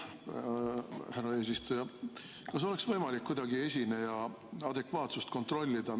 Härra eesistuja, kas oleks kuidagi võimalik esineja adekvaatsust kontrollida?